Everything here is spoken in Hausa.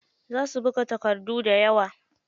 Za su buga takardun dayawa.